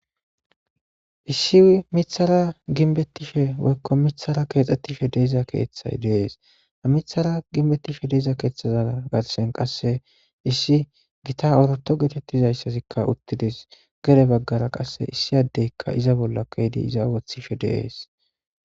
issi mithara ginbettishe woykko mithara keexxettishe deeza keeththay deees a mithara ginbettishe deeza keeththaza gatsen qasse issi gita orato geetettizayssazikka uttides gere baggara qasse issiyaddeykka iza bolla keydi iza wothife de'es